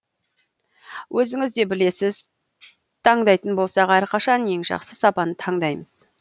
өзіңіз де білесіз таңдайтын болсақ әрқашан ең жақсы сапаны таңдаймыз